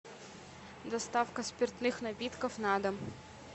доставка спиртных напитков на дом